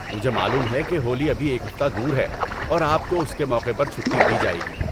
مجھے معلوم ہے کہ ہولی ابھی ایک ہفتہ دور ہے اور آپ کو اس کے موقع پر چھٹی دی جائے گی۔